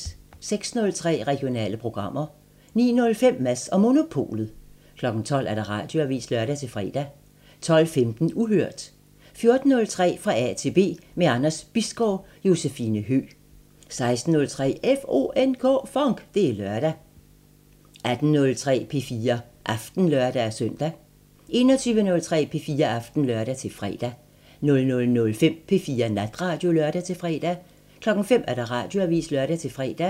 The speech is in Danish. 06:03: Regionale programmer 09:05: Mads & Monopolet 12:00: Radioavisen (lør-fre) 12:15: Uhørt 14:03: Fra A til B – med Anders Bisgaard: Josefine Høgh 16:03: FONK! Det er lørdag 18:03: P4 Aften (lør-søn) 21:03: P4 Aften (lør-fre) 00:05: P4 Natradio (lør-fre) 05:00: Radioavisen (lør-fre)